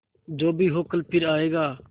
जो भी हो कल फिर आएगा